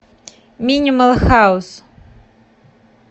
минимал хаус